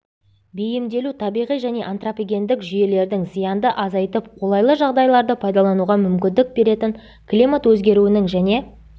бейімделу табиғи және антропогендік жүйелердің зиянды азайтып қолайлы жағдайларды пайдалануға мүмкіндік беретін климат өзгеруінің және